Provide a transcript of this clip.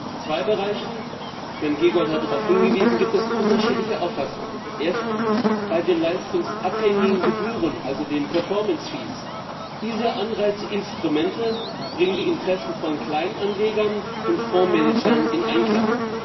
In zwei Bereichen Sven Giegold hat darauf hingewiesen gibt es unterschiedliche Auffassungen erstens bei den leistungsabhängigen Gebühren, also den performance fees Diese Anreizinstrumente bringen die Interessen von Kleinanlegern und Fondmanagern in Einklang.